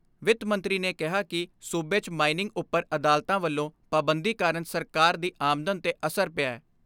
ਵਿੱਤ ਮੰਤਰੀ ਨੇ ਕਿਹਾ ਕਿ ਸੂਬੇ 'ਚ ਮਾਈਨਿੰਗ ਉਪਰ ਅਦਾਲਤਾਂ ਵੱਲੋਂ ਪਾਬੰਦੀ ਕਾਰਨ ਸਰਕਾਰ ਦੀ ਆਮਦਨ ਤੇ ਅਸਰ ਪਿਐ।